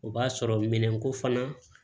O b'a sɔrɔ minɛn ko fana